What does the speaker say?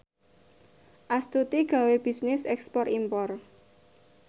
Astuti gawe bisnis ekspor impor